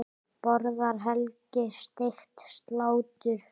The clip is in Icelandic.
Borðar Helgi steikt slátur?